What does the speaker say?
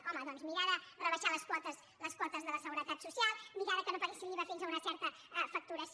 home doncs mirar de rebaixar les quotes de la seguretat social mirar que no paguessin l’iva fins a una certa facturació